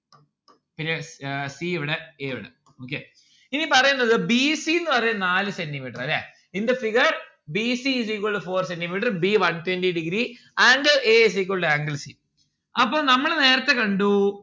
പിന്നെ uh c ഇവിടെ a ഇവിടെ okay ഇനി പറയ്ന്നത് b c ന്ന്‌ പറയുന്നത് നാല് centi metre അല്ലെ in the figure b c is equal to four centi metre. b one twenty degree angle a is equal to angle c അപ്പോൾ നമ്മൾ നേരത്തെ കണ്ടു